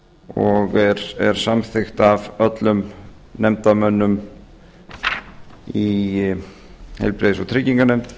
og er samþykkt af öllum nefndarmönnum í heilbrigðis og trygginganefnd